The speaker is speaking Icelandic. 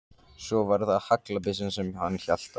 Svo var það haglabyssan sem hann hélt á.